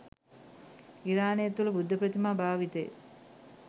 ඉරානය තුළ බුද්ධ ප්‍රතිමා භාවිතය